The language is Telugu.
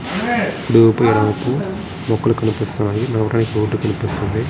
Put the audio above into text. మొక్కలు కనిపిస్తున్నాయి. లోపల బోర్డు కనిపిస్తుంది.